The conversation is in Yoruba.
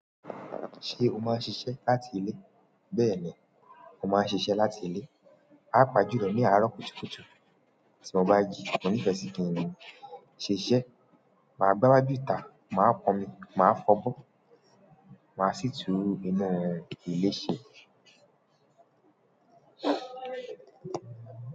Ṣé o máa ń ṣiṣẹ́ láti ilé? Bẹ́ẹ̀ni o, mo má ń ṣiṣẹ́ láti ilé. A má jilo ní àárọ̀ kùtùkùtù. Tí mo bá jí, mo nifẹ sí kí ènìyàn ṣ'iṣẹ. Má gba wájú ìta, máa pọn mi, má f'ọbọ, má sì tú inú ilé ṣe.